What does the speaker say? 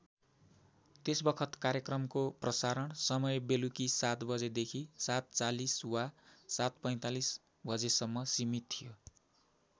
त्यसबखत कार्यक्रमको प्रसारण समय बेलुकी ७ बजेदेखि ७४० वा ७४५ बजेसम्म सिमित थियो।